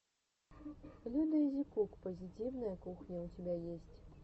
людаизикук позитивная кухня у тебя есть